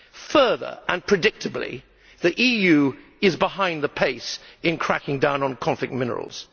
Further, and predictably, the EU is behind the pace in cracking down on conflict minerals.